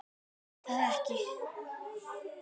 En ég gat það ekki.